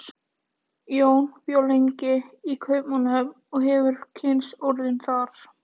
Jón bjó lengi í Kaupmannahöfn og hefur kynnst orðinu þar.